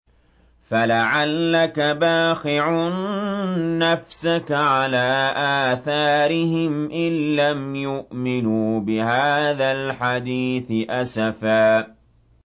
فَلَعَلَّكَ بَاخِعٌ نَّفْسَكَ عَلَىٰ آثَارِهِمْ إِن لَّمْ يُؤْمِنُوا بِهَٰذَا الْحَدِيثِ أَسَفًا